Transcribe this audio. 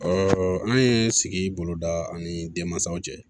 an ye sigi boloda ani denmansaw cɛ